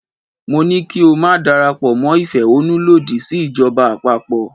Mo ní ko máa darapọ̀ mọ́ ìfẹ̀hánnú lòdì sí ìjọba àpapọ̀.